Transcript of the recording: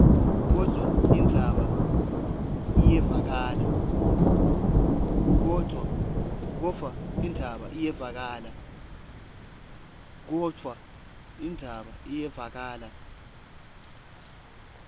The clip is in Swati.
kodvwa indzaba iyevakala